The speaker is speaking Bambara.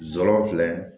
Zɔrɔ filɛ